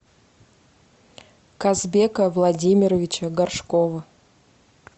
казбека владимировича горшкова